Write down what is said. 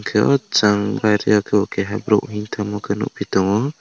hwnkhe o chang baire o khe bo keiha borok himoi thangma nukphi tongo.